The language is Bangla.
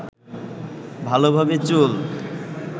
ভালোভাবে চুল